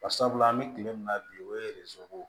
Bari sabula an bɛ kile min na bi o ye